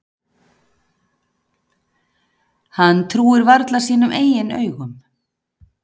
Hann trúir varla sínum eigin augum.